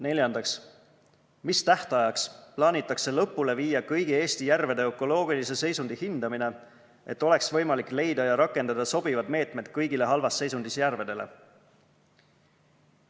Neljandaks, mis tähtajaks plaanitakse lõpule viia kõigi Eesti järvede ökoloogilise seisundi hindamine, et oleks võimalik leida ja rakendada sobivaid meetmeid kõigile halvas seisundis järvedele?